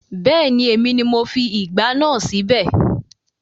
Bẹ́ẹ̀ni, èmi ni mo fi ìgbá náà síbẹ̀